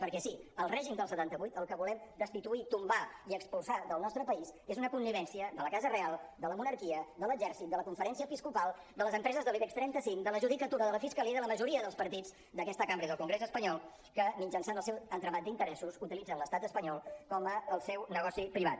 perquè sí el règim del setanta vuit el que volem destituir i tombar i expulsar del nostre país és una connivència de la casa reial de la monarquia de l’exèrcit de la conferència episcopal de les empreses de l’ibex trenta cinc de la judicatura de la fiscalia i de la majoria dels partits d’aquesta cambra i del congrés espanyol que mitjançant el seu entramat d’interessos utilitzen l’estat espanyol com el seu negoci privat